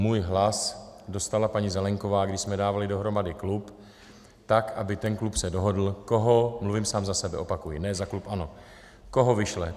Můj hlas dostala paní Zelienková, když jsme dávali dohromady klub, tak aby ten klub se dohodl koho - mluvím sám za sebe, opakuji, ne za klub ANO - koho vyšle.